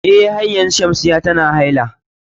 Eh har yanzu Shamsiyya tana haila.